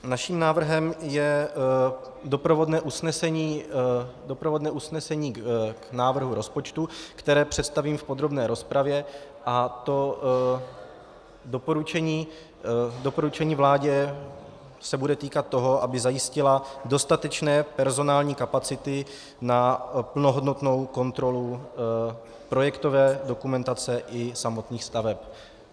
Naším návrhem je doprovodné usnesení k návrhu rozpočtu, které představím v podrobné rozpravě, a to doporučení vládě se bude týkat toho, aby zajistila dostatečné personální kapacity na plnohodnotnou kontrolu projektové dokumentace i samotných staveb.